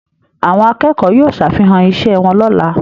Àwọn akẹ́kọ̀ọ́ yóò ṣàfihàn iṣẹ́ wọn lọ́la